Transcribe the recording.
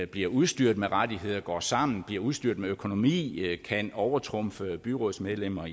bliver udstyret med rettigheder går sammen bliver udstyret med økonomi og kan overtrumfe byrådsmedlemmer